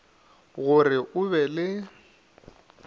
go re o be le